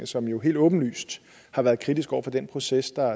som jo helt åbenlyst har været kritisk over for den proces der